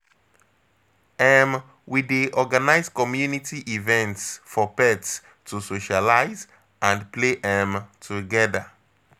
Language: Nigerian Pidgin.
um We dey organize community events for pets to socialize and play um together.